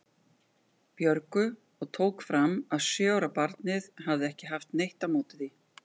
Björgu og tók fram að sjö ára barnið hefði ekki haft neitt á móti því.